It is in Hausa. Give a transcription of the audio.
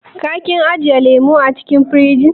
Ka / kin ajiye lemun acikin firij?